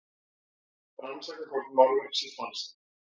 Rannsaka hvort málverk sé falsað